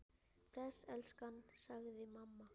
Bless elskan! sagði mamma.